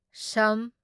ꯁꯝ